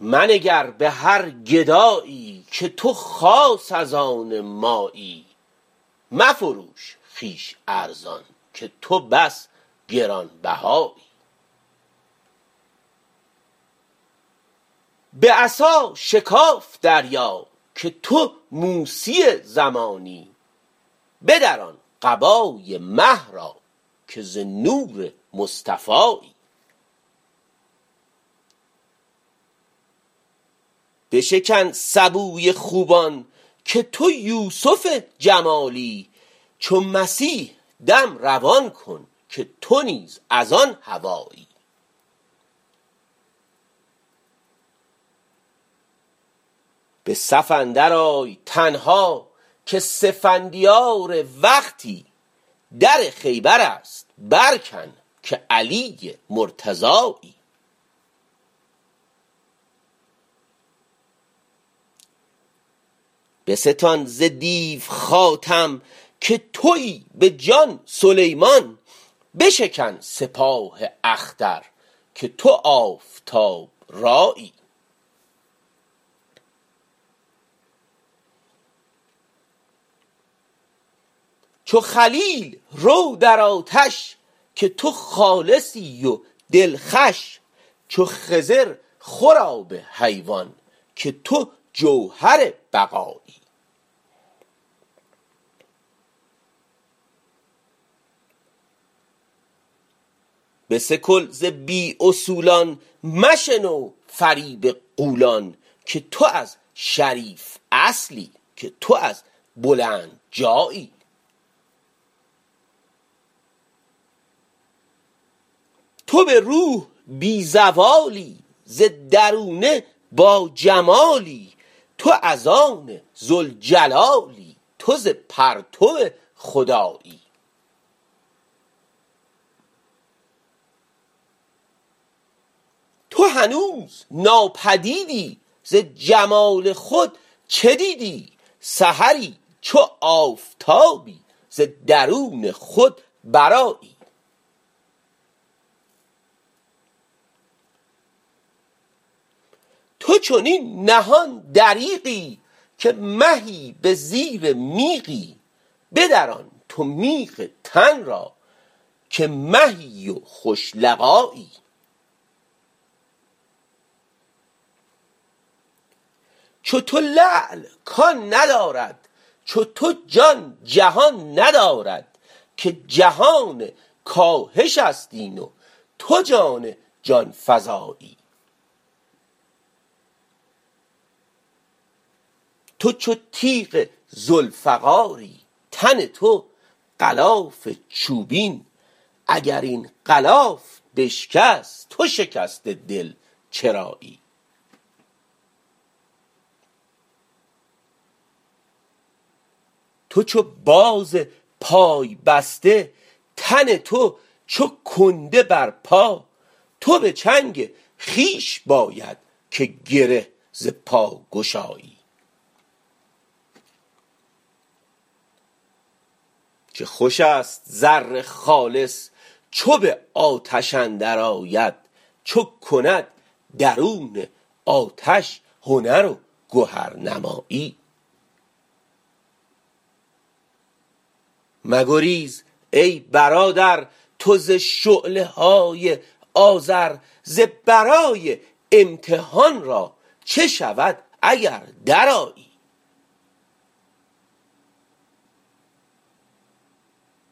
منگر به هر گدایی که تو خاص از آن مایی مفروش خویش ارزان که تو بس گران بهایی به عصا شکاف دریا که تو موسی زمانی بدران قبای مه را که ز نور مصطفایی بشکن سبوی خوبان که تو یوسف جمالی چو مسیح دم روان کن که تو نیز از آن هوایی به صف اندرآی تنها که سفندیار وقتی در خیبر است برکن که علی مرتضایی بستان ز دیو خاتم که توی به جان سلیمان بشکن سپاه اختر که تو آفتاب رایی چو خلیل رو در آتش که تو خالصی و دلخوش چو خضر خور آب حیوان که تو جوهر بقایی بسکل ز بی اصولان مشنو فریب غولان که تو از شریف اصلی که تو از بلند جایی تو به روح بی زوالی ز درونه باجمالی تو از آن ذوالجلالی تو ز پرتو خدایی تو هنوز ناپدیدی ز جمال خود چه دیدی سحری چو آفتابی ز درون خود برآیی تو چنین نهان دریغی که مهی به زیر میغی بدران تو میغ تن را که مهی و خوش لقایی چو تو لعل کان ندارد چو تو جان جهان ندارد که جهان کاهش است این و تو جان جان فزایی تو چو تیغ ذوالفقاری تن تو غلاف چوبین اگر این غلاف بشکست تو شکسته دل چرایی تو چو باز پای بسته تن تو چو کنده بر پا تو به چنگ خویش باید که گره ز پا گشایی چه خوش است زر خالص چو به آتش اندرآید چو کند درون آتش هنر و گهرنمایی مگریز ای برادر تو ز شعله های آذر ز برای امتحان را چه شود اگر درآیی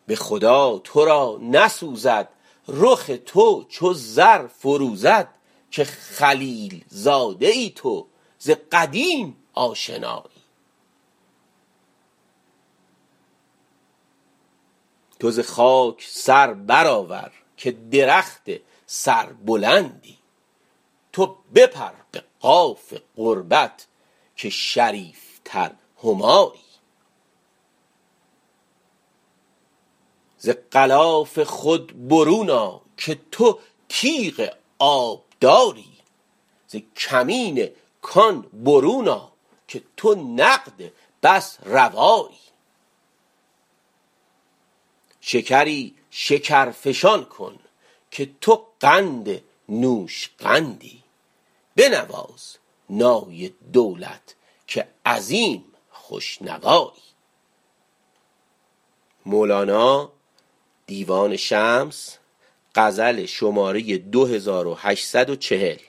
به خدا تو را نسوزد رخ تو چو زر فروزد که خلیل زاده ای تو ز قدیم آشنایی تو ز خاک سر برآور که درخت سربلندی تو بپر به قاف قربت که شریفتر همایی ز غلاف خود برون آ که تو تیغ آبداری ز کمین کان برون آ که تو نقد بس روایی شکری شکرفشان کن که تو قند نوشقندی بنواز نای دولت که عظیم خوش نوایی